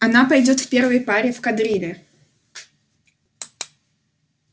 она пойдёт в первой паре в кадрили